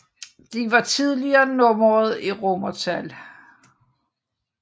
De var tidligere nummereret i romertal